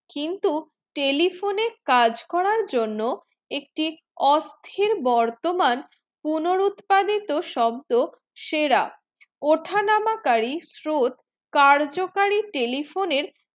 কিন্তু telephone এ কাজ করা জন্য একটি অস্থির বর্তমান পুনরুৎপাদিত শব্দ সেরা ওঠা নামা কারী স্রোত কার্যকারী telephone এর